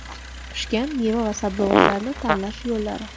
Pishgan meva va sabzavotlarni tanlash yo‘llari.